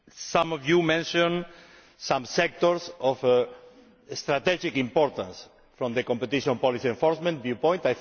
Some of you mentioned some sectors of strategic importance from the competition policy enforcement viewpoint.